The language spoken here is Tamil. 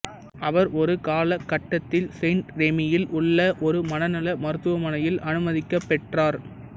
அவர் ஒரு காலகட்டத்தில் செயிண்ட்ரெமியில் உள்ள ஒரு மனநல மருத்துவமனையில் அனுமதிக்கப் பெற்றார்